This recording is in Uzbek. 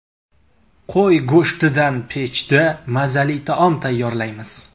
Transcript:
Qo‘y go‘shtidan pechda mazali taom tayyorlaymiz.